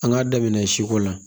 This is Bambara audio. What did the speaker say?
An k'a daminɛ siko la